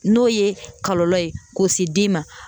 N'o ye kɔlɔlɔ ye k'o se den ma.